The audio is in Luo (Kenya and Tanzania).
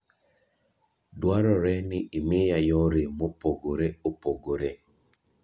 dwarore ni imiya yore mopogore opogore